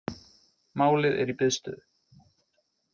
Málið er í biðstöðu